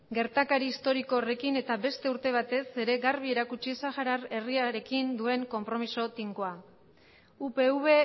gertakari historiko horrekin eta beste urte batez ere garbi erakutsi sahara herriarekin duen konpromiso tinkoa upv